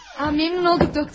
Memnun olduq, doktor.